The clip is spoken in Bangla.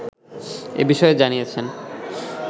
এ বিষয়ে জানিয়েছেন